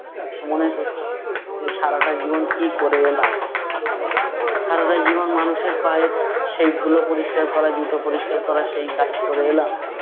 মনে করছে, যে সারাটা জীবন কী করে এলাম! সারাটা জীবন মানুষের পায়ের সেই ধুলো পরিষ্কার করা জুতো পরিষ্কার করা সেই কাজ করে এলাম,